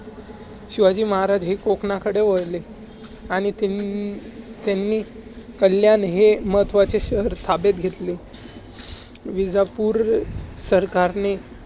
शिवाजी महाराज हे कोकणाकडे वळले, आणि त्यां~ त्यांनी कल्याण हे महत्वाचे शहर ताब्यात घेतले विजापूर सरकारने